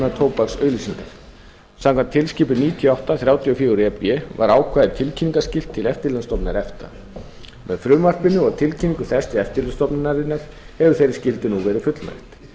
tóbaksauglýsingar samkvæmt tilskipun níutíu og átta þrjátíu og fjögur e b var ákvæðið tilkynningarskylt til eftirlitsstofnunar efta með frumvarpinu og tilkynningu þess til eftirlitsstofnunarinnar hefur þeirri skyldu nú verið fullnægt